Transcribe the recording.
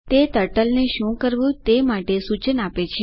તે ટર્ટલને શું કરવું તે માટે સૂચન આપે છે